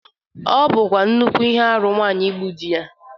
Ọ bụkwa nnukwu ihe arụ nwaanyi igbu di ya.